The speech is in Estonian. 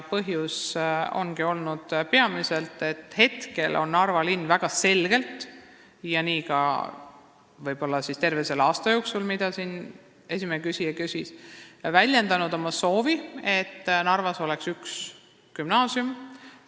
Põhjus ongi olnud peamiselt see, et Narva linn on praegu väga selgelt, võib-olla ka terve selle aasta jooksul, mille kohta esimene küsija küsis, väljendanud oma soovi, et Narvas oleks üks gümnaasium.